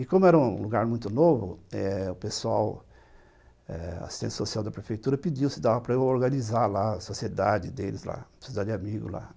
E como era um lugar muito novo, eh, o pessoal, assistente social da prefeitura, pediu se dava para eu organizar lá a sociedade deles, lá, a sociedade de amigos lá.